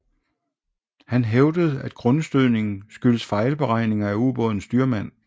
Han hævdede at grundstødningen skyldtes fejlberegninger af ubådens styrmand